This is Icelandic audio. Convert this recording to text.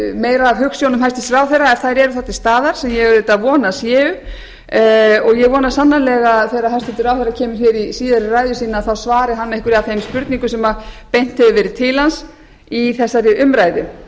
meira af hugsjónum hæstvirtur ráðherra ef þær eru þá til staðar sem ég auðvitað vona að séu og ég vona sannarlega að þegar hæstvirtur ráðherra kemur hér í síðari ræðu sína svari hann einhverju af þeim spurningum sem beint hefur verið til hans í þessari umræðu